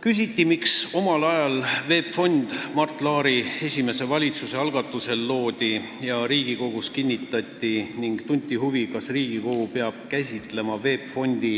Küsiti, miks omal ajal VEB Fond Mart Laari esimese valitsuse algatusel loodi ja Riigikogus kinnitati ning tunti huvi, kas Riigikogu peab käsitlema VEB Fondi